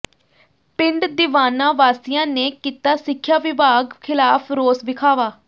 ਪਿੰਡ ਦੀਵਾਨਾ ਵਾਸੀਆਂ ਨੇ ਕੀਤਾ ਸਿੱਖਿਆ ਵਿਭਾਗ ਖ਼ਿਲਾਫ਼ ਰੋਸ ਵਿਖਾਵਾ